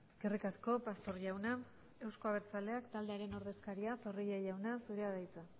eskerrik asko pastor jauna euzko abertzaleak taldearen ordezkaria zorrilla jauna zurea da hitza